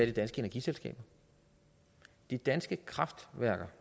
de danske energiselskaber de danske kraftværker